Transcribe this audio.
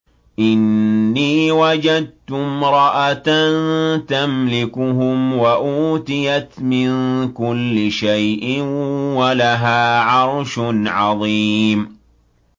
إِنِّي وَجَدتُّ امْرَأَةً تَمْلِكُهُمْ وَأُوتِيَتْ مِن كُلِّ شَيْءٍ وَلَهَا عَرْشٌ عَظِيمٌ